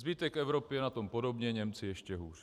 Zbytek Evropy je na tom podobně, Němci ještě hůř.